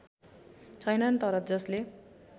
छैनन् तर जसले